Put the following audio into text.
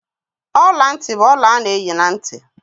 Ọla ntị bụ ọla a na-eyi na ntị.